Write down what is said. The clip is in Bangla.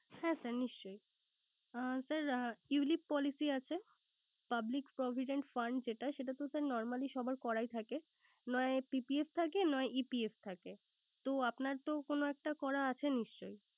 হ্যাঁ স্যার নিশ্চই আহ Sir ulip policy আছে। Public provident fund যেটা সেটা তো স্যার Normally সবার করাই থাকে নয় PPF থাকে নয় EPF থাকে। তো আপনার তো কোন একটা করা আছে নিশ্চই